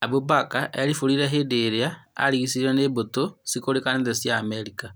Abu Mbaka erimbũrire hĩndĩ ĩrĩa arigicĩirio nĩ mbũtũ cĩkũrĩkanĩte cia Amerika.